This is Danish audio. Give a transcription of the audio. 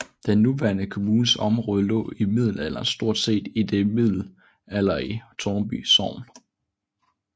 Den nuværende kommunes område lå i middelalderen stort set i det middelalderlige Tårnby sogn